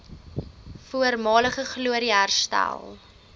voormalige glorie herstel